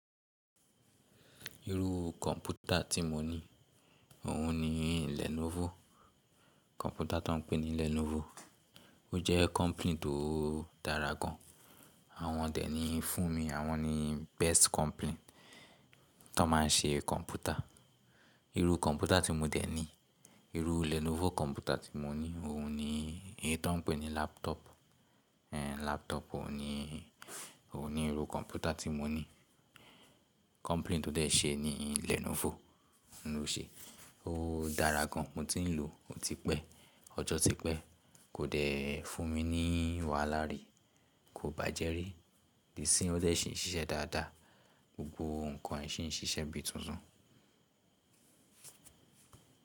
Irú kọ̀mpútà tí mo ní, òun ni Lenovo. Kọ̀mpútà tó n pè ní Lenovo, ó jẹ́ company tó dára gan. Àwọn dẹ̀ ní fún mi, àwọn ni best company tón má n ṣe kọ̀mpútà. Irú kọ̀mpútà tí mo dẹ̀ ní, irú Lenovo kọ̀mpútà tí mo ní, òun ni éyi tọ́n n pẹ̀ ní laptop. Laptop òun ni, òun ni irú kọ̀mpútà tí mo ní. Company tó dẹ̀ ṣe ẹ ní Lenovo ló ṣe. Ó dára gan, mo ti n lò ó, ó ti pẹ́, ọjọ́ ti pẹ́, kò dẹ̀ fún mi ní wàhálà rí, kò bàjẹ́ rí. Dì sín ó dẹ̀ ṣì n ṣiṣẹ́ dáadáa, gbogbo ǹkan e ṣì n ṣiṣẹ́ bíi tuntun.